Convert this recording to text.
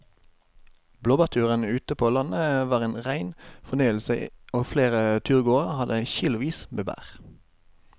Blåbærturen ute på landet var en rein fornøyelse og flere av turgåerene hadde kilosvis med bær.